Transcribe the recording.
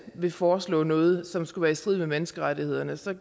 vil foreslå noget som skulle være i strid med menneskerettighederne så